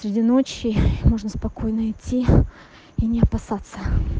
среди ночи можно спокойно идти и не опасаться